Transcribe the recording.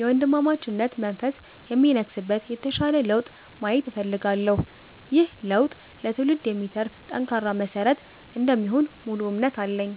የወንድማማችነት መንፈስ የሚነግስበት የተሻለ ለውጥ ማየት እፈልጋለሁ። ይህ ለውጥ ለትውልድ የሚተርፍ ጠንካራ መሰረት እንደሚሆን ሙሉ እምነት አለኝ።